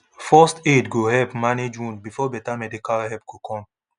first aid go help manage wound before better medical help go come